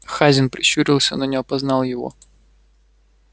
хазин прищурился но не опознал его